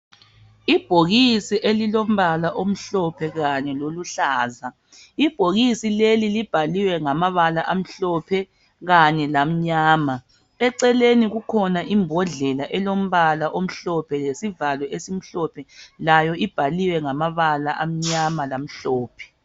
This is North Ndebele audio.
Ibhokisi elilombala omhlophe kanye loluhlaza. Libhaliwe ngamabala amhlophe lamnyama.. Eceleni kukhona imbodlela elombala omhlophe lesivalo esimhlophe njalo ibhaliwe ngàmabala amnyama lamhlophe